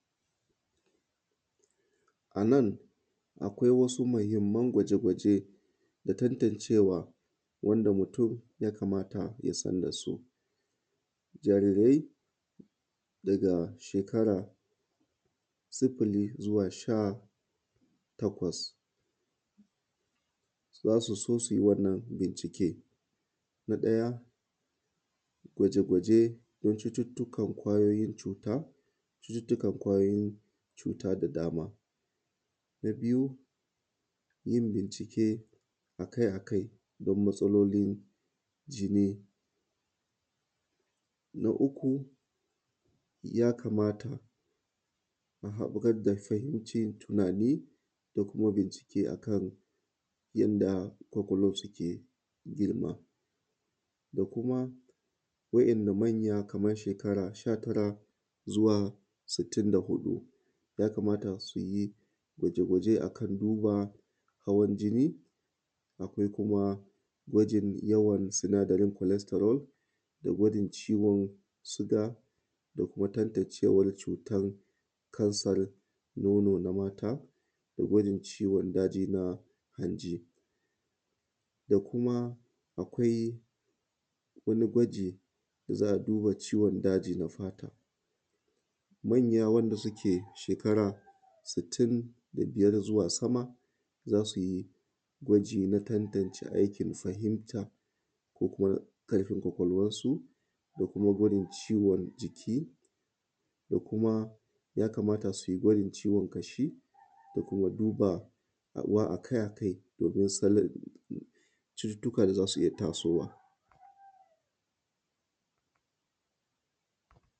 A nan akwai wasu muhinman gwaje-gwaje da tantancewa wanda mutun ya kamata ya san da su, jarirai daga shekara 0-18, za su so su u yi wannan bincike na ɗaya gwaje-gwaje na cututtukan kwayoyin cuta da cututtukan kwayoyin cuta da dama. Na biyu yin bincike akai-akai don matsalolin jini, na uku ya kamata a bugar da ƙarancin tunani da kuma bincike akan yanda komulo suke girma da kuma wa’yannan manya kaman ‘yan shekara 19-64 ya kamata su yi gwaje-gwaje akan duba hawan jini da abubuwa, akwai kuma gwajin yawan sinadaren flastarun da gwajin ciwon siga, da kuma tantancewan cutan kansan nono na mata da gwajin ciwon daji na hanji, da kuma akwai wani gwaji da za a duba ciwon daji na fata. Manya wanda suke shekara sittin da biyar zuwa sama za su yi gwaji na tantance aikin fahimta ko kuma ƙarfin kwakwalwansu da kuma gwaji ciwon jiki da kuma ya kamta su yi gwajin ciwon ƙashi da kuma duba wa akai-akai domin sanin cututtukan za su iya taso wa.